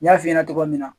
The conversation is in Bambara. N y'a f'i ɲɛna togo min na